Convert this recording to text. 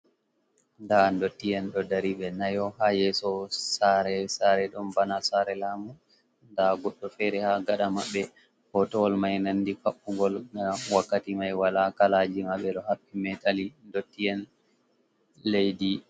Nda dotti en ɗo dari be nayo ha yeso sare sare ɗon bana sare lamu, da goddo fere ha gaɗa maɓɓe, hoto wol mai nandi kaɓɓugol, na wakkati mai wala kalaji ma ɓe ɗo haɓɓi meteli dotti en leddi.